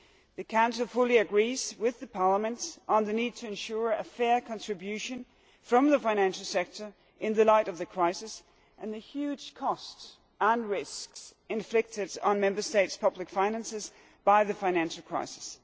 The Council fully agrees with Parliament on the need to ensure a fair contribution from the financial sector in the light of the huge costs and risks inflicted on Member States' public finances by the financial crisis.